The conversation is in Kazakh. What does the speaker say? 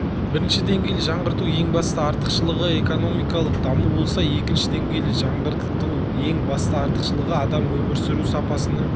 бірінші деңгейлі жаңғырту ең басты артықшылығы экономикалық даму болса екінші деңгейлі жаңғырту ең басты артықшылығы адам өмір сүру сапасының